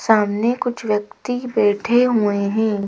सामने कुछ व्यक्ति बैठे हुए हैं।